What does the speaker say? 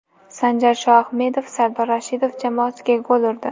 Sanjar Shoahmedov Sardor Rashidov jamoasiga gol urdi.